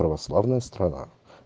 православная страна